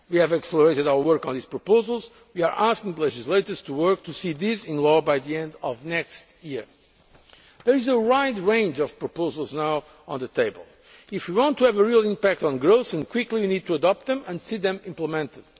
Act. We have accelerated our work on these proposals and we are asking the legislators to work to see these in law by the end of next year. There is a wide range of proposals now on the table. If we want to have a real impact on growth, and quickly, we need to adopt them and see them